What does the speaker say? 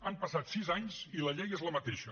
han passat sis anys i la llei és la mateixa